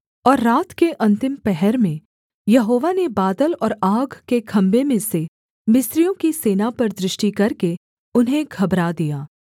और रात के अन्तिम पहर में यहोवा ने बादल और आग के खम्भे में से मिस्रियों की सेना पर दृष्टि करके उन्हें घबरा दिया